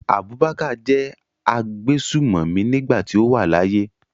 Abubakar jẹ́ agbésùmọ̀mí nígbà tí ó wà láyé.